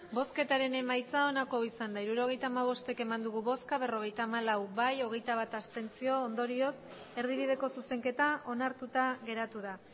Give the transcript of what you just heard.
emandako botoak hirurogeita hamabost bai berrogeita hamalau abstentzioak hogeita bat ondorioz erdibideko zuzenketa onartuta geratu da